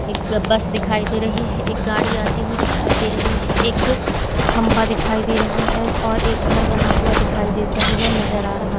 एक बस दिखाई दे रही है एक गाड़ी आती हुई दिखाई दे रही है एक खंबा दिखाई दे रहा है और एक घर बना हुआ दिखाई देता हुआ नजर आ रहा--